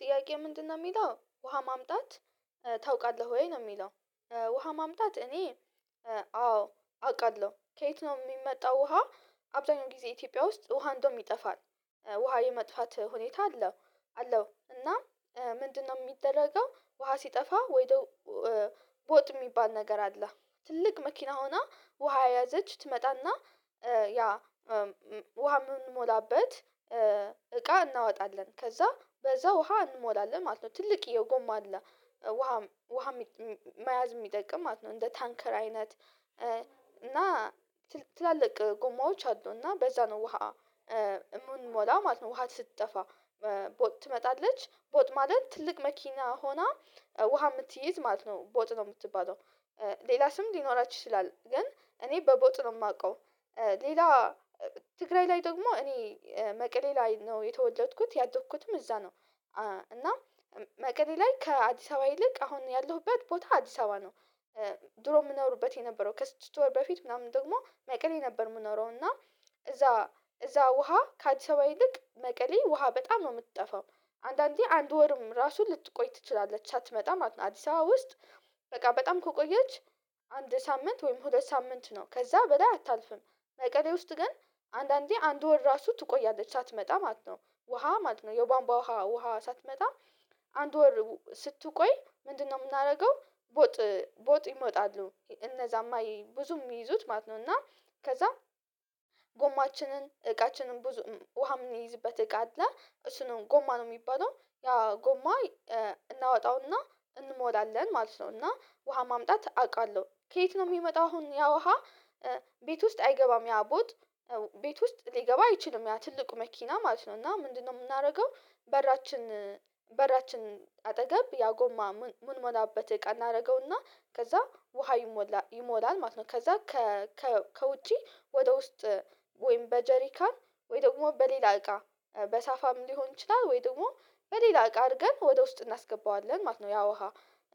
ጥያቄ ምንድነው የሚለው ውሃ ማምጣት ታውቃለህ ወይ? ነው የሚለው ውሃ ማምጣት እኔ አዎ አውቃለሁ። ከየት ነው የሚመጣው ውሃ አብዛኛው ጊዜ ኢትዮጵያ ውስጥ ውሃ እንደውም ይጠፋል ውሃ የመጥፋት ሁኔታ አለው አለው እና ምንድነው የሚደረገው ውሃ ሲጠፋ ወይደው ቦጥ የሚባል ነገር አለ ትልቅ መኪና ሆና ውሃ የያዘች ትመጣና ያ ውሃ የምንሞላበት እቃ እናወጣለን ከዛ በዛ ውሃ እንሞላለን ማለት ነው። ትልቅየ ጎማ አለ ውሃ ውሃ መያዝ የሚጠቅም ማለት ነው እንደ ታንከር አይነት እና ትላልቅ ጉማዎች አሉ እና በዛ ነው ውሃ የምንሞላ ማለት ነው ውሃ ስትጠፋ ቦጥ ትመጣለች ቦጥ ማለት ትልቅ መኪና ሆና ውሃ የምትይዝ ማለት ነው ቦጥ ነው የምትባለው ሌላ ስም ሊኖራችሁ ይችላል ግን እኔ በቦጥ ነው የማውቀው ሌላ ትግራይ ላይ ደግሞ እኔ መቀሌ ላይ ነው የተወለድኩት ያደኩትም እዛ ነው እና መቀሌ ላይ ከአዲስ አበባ ይልቅ አሁን ያለሁበት ቦታ አዲስ አበባ ነው። ድሮ የምኖርበት የነበረው ከስድስት ወር በፊት ምናምን ደግሞ መቀሌ ነበር የምንኖረው እና እዛ እዛ ውሃ ከአዲስ አበባ ይልቅ መቀሌ ውሃ በጣም ነው የምትጠፋው አንዳንዴ አንድ ወርም ራሱን ልትቆይ ትችላለች አትመጣም ማለት ነው አዲስ አበባ ውስጥ በቃ በጣም ከቆየች አንድ ሳምንት ወይም ሁለት ሳምንት ነው ከዛ በላይ አታልፍም መቀሌ ውስጥ ግን አንዳንዴ አንድ ወር ራሱ ትቆያለች ሳትመጣ ማለት ነው ውሃ ማለት ነው የቧንቧ ውሃ ውሃ ሳትመጣ አንድ ወር ስትቆይ ምንድነው የምናደርገው ቦጥ ቦጥ ይመጣሉ እነዛማ ብዙም ይይዙት ማለት ነው እና ከዛም ጎማችንን፣ እቃችንን ብዙ ውሃ የምንይዝበት እቃ አለ እሱ ነው ጎማ ነው የሚባለው ያ ጎማ እናወጣውና እንሞላለን ማለት ነው እና ውሃ ማምጣት አውቃለሁ። ከየት ነው የሚመጣው አሁን ያ ውሃ ቤት ውስጥ አይገባም ያ ቦጥ ቤት ውስጥ ሊገባ አይችልም ያ ትልቁ መኪና ማለት ነው እና ምንድነው የምናደርገው በራችን በራችን አጠገብ ያጎማ ምንሞላበት እቃ እናደርገውና ከዛ ውሃ ይሞላል ማለት ነው ከዛ ከውጪ ወደ ውስጥ ወይም በጀሪካ ወይ ደግሞ በሌላ እቃ በሳፋም ሊሆን ይችላል ወይ ደግሞ በሌላ እቃ አድርገን ወደ ውስጥ እናስገባዋለን ማለት ነው ያ ውሃ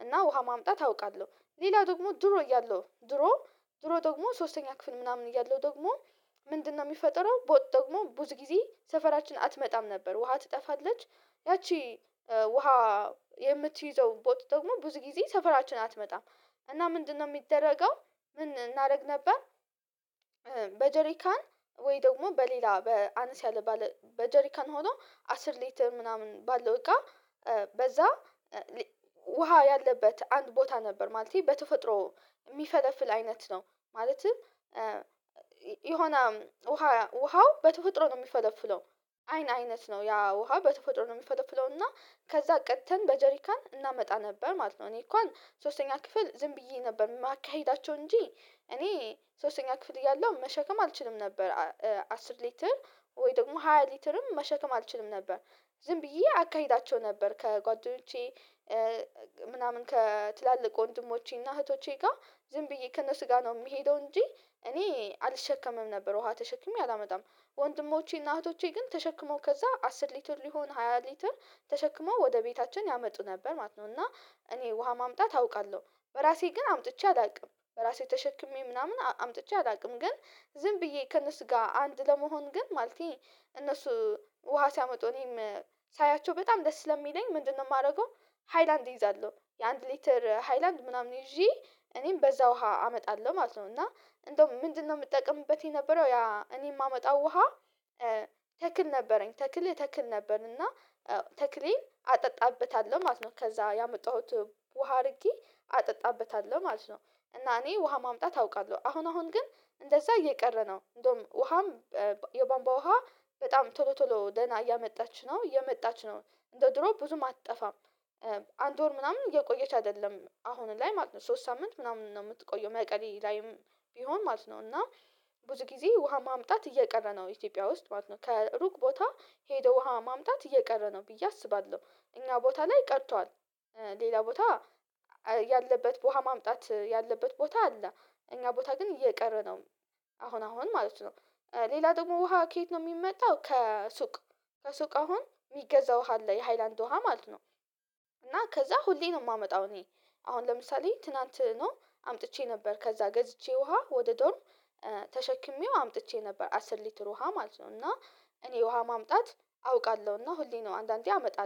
እና ውሃ ማምጣት አውቃለሁ። ሌላ ደግሞ ድሮ እያለሁ ድሮ ድሮ ደግሞ ሶስተኛ ክፍል ምናምን እያለሁ ደግሞ ምንድነው የሚፈጠረው ቦጥ ደግሞ ብዙ ጊዜ ሰፈራችን አትመጣም ነበር ውሃ ትጠፋለች ያቺ ውሃ የምትይዘው ቦጥ ደግሞ ብዙ ጊዜ ሰፈራችን አትመጣም እና ምንድነው የሚደረገው ምን እናደርግ ነበር በጀሪካን ወይ ደግሞ በሌላ በ አነስ ያለ ባለ በጀሪካን ሆኖ አስር ሊትር ምናምን ባለው እቃ በዛ ውሃ ያለበት አንድ ቦታ ነበር ማለቴ በተፈጥሮ የሚፈለፍል አይነት ነው ማለትም የሆነ ውሃ ውሃው በተፈጥሮ ነው የሚፈለፍለው አይን አይነት ነው ያ ውሃ በተፈጥሮ ነው የሚፈለፍለው እና ከዛ ቀደተን በጀሪካን እናመጣ ነበር ማለት ነው። እኔ እንኳን ሶስተኛ ክፍል ዝም ብዬ ነበር የማካሂዳቸው እንጂ እኔ ሶስተኛ ክፍል እያለሁ መሸከም አልችልም ነበር፣ አስር ሊትር ወይ ደግሞ ሃያ ሊትርም መሸከም አልችልም ነበር ዝም ብዬ አካሂዳቸው ነበር። ከጓደኞቼ ምናምን ከትላልቅ እንድሞቼና እህቶቼ ጋር ዝም ብዬ ከነሱጋ ነው የምሄደው እንጂ እኔ አልሸከምም ነበር ውሃ ተሸክሜ አላመጣም። ወንድሞቼና እህቶቼ ግን ተሸክመው ከዛ አስር ሊትር ሊሆን ሃያ ሊትር ተሸክመው ወደ ቤታችን ያመጡ ነበር ማለት ነው እና እኔ ውሃ ማምጣት አውቃለሁ። በራሴ ግን አምጥቼ አላውቅም በራሴ ተሸክሜ ምናምን አምጥቼ አላውቅም፤ ግን ዝም ብዬ ከእነሱ ጋር አንድ ለመሆን ግን ማለቴ እነሱ ውሃ ሲያመጡ እኔም ሳያቸው በጣም ደስ ስለሚለኝ ምንድነው የማደርገው ሃይላንድ እይዛለሁ የአንድ ሊትር ሃይላንድ ምናምን ይዤ እኔም በዛ ውሃ አመጣለሁ ማለት ነው እና እንደውም ምንድነው የምጠቀምበት የነበረው ያ እኔ የማመጣው ውሃ ተክል ነበረኝ ተክል እተክል ነበር እና ተክሌን አጠጣበታለሁ ማለት ነው ከዛ ያመጣሁት ውሃ አድርጌ አጠጣበታለሁ ማለት ነው። እና እኔ ውሃ ማምጣት አውቃለሁ አሁን አሁን ግን እንደዛ እየቀረ ነው እንደውም ውሃም የቧንባቧ ውሃ በጣም ቶሎ ቶሎ ደህና እያመጣች ነው እየመጣች ነው እንደ ድሮ ብዙም አትጠፋም። አንድ ወር ምናምን እየቆየች አይደለም አሁን ላይ ማለት ነው ሶስት ሳምንት ምናምን ነው የምትቆየው መቀሌ ላይም ቢሆን ማለት ነው እና ብዙ ጊዜ ውሃ ማምጣት እየቀረ ነው ኢትዮጵያ ውስጥ ማለት ነው ከሩቅ ቦታ ሄደው ውሃ ማምጣት እየቀረ ነው ብዬ አስባለሁ። እኛ ቦታ ላይ ቀርቷል ሌላ ቦታ ያለበት ውሃ ማምጣት ያለበት ቦታ አለ እኛ ቦታ ግን እየቀረ ነው አሁን አሁን ማለት ነው። ሌላ ደግሞ ውሃ ከየት ነው የሚመጣው ከሱቅ ከሱቅ አሁን የሚገዛው ውሃ አለ የሃይላንድ ውሃ ማለት ነው እና ከዛ ሁሌ ነው የማመጣው እኔ አሁን ለምሳሌ ትናንት ነው አምጥቼ ነበር ከዛ ገዝቼ ውሃ ወደ ዶርም ተሸክሜው አምጥቼ ነበር አስር ሊትር ውሃ ማለት ነው እና እኔ ውሃ ማምጣት አውቃለሁ እና ሁሌ ነው አንዳንዴ አመጣለሁ።